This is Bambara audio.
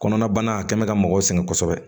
Kɔnɔnabana a kɛ mɛ ka mɔgɔw sɛgɛn kosɛbɛ